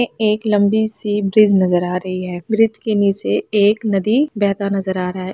एक लंबी सी ब्रिज नजर आ रही है ब्रिज के नीचे एक नदी बहता हुआ नजर आ रही है।